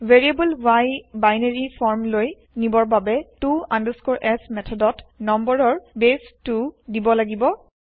variable y binary form লৈ নিবৰ বাবে to s মেঠদত নম্বৰৰ বেছ 2 দিব লাগিব